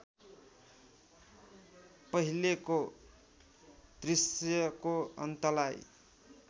पहिलेको दृश्यको अन्तलाई